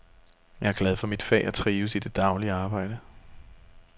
Jeg er glad for mit fag og trives i det daglige arbejde.